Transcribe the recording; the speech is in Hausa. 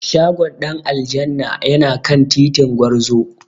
Shagon Dan aljanna yana kan titin Gwarzo.